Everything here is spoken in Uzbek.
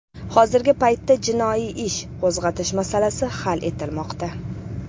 Hozirgi paytda jinoiy ish qo‘zg‘atish masalasi hal etilmoqda.